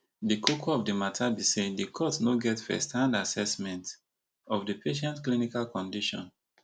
di koko of di mata be say di court no get first hand assessment of di patient clinical condition